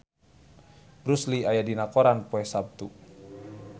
Bruce Lee aya dina koran poe Saptu